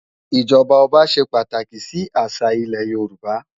ijọba ọba ṣé pàtáki si àṣá ilè Yoruba